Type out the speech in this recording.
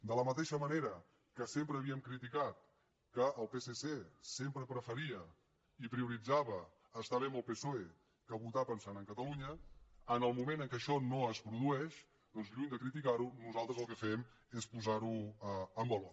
de la mateixa manera que sempre havíem criticat que el psc sempre preferia i prioritzava estar bé amb el psoe que votar pensant en catalunya en el moment en què això no es produeix doncs lluny de criticar ho nosaltres el que fem és posar ho en valor